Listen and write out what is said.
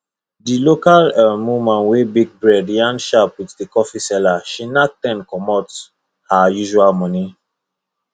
the local um woman wey bake bread yarn sharp with the coffee seller she knack ten commot her usual money